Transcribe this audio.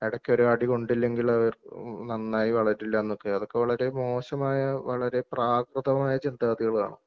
എടയ്ക്കൊരു അടികൊണ്ടില്ലെകില് അവർ ഏഹ് ഉം നന്നായി വളരില്ലന്നൊക്കെ അതൊക്കെ വളരെ മോശമായ വളരെ പ്രാകൃതമായ ചിന്താഗതികളാണ്.